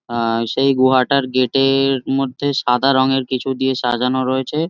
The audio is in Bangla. আ সেই গুহাটার গেট -এ-এ-র মধ্যে সাদা রঙের কিছু দিয়ে সাজানো রয়েছে।